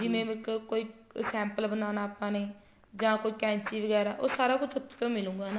ਜਿਵੇਂ ਇੱਕ ਕੋਈ sample ਬਨਾਣਾ ਆਪਾਂ ਨੇ ਜਾ ਕੋਈ ਕੈਚੀ ਵਗੇਰਾ ਉਹ ਸਾਰਾ ਕੁੱਛ ਉੱਥੋ ਤੋਂ ਮਿਲੂਗਾ